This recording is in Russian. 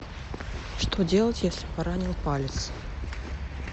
что делать если поранил палец